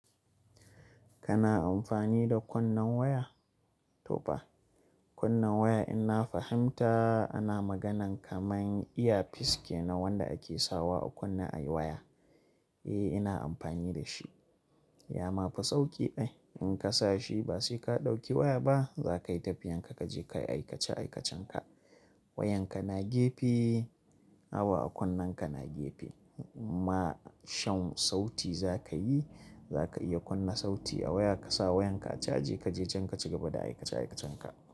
Kana amfani da kwannan waya? To ba. Kwannan waya in na fahimta ana magana kamar iya fiske na wanda ake sawa a kunna ayi waya. Eh ina amfani da shi. Ya mafi sauki dai in ka sa shi ba sai ka ɗauki waya ba za ka yi tafiyan ka kaje kayi aikace aikacen ka. Wayan ka na gefe, awa a kwannan ka na gefe. Ma shan sauti za kayi, za ka iya kunna sauti a waya ka sawa yan ka a caje kaje can kaci gaba da aikace aikacen ka.